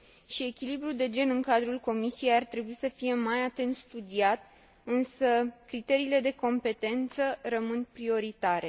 Și echilibrul de gen în cadrul Comisiei ar trebui să fie mai atent studiat, însă criteriile de competență rămân prioritare.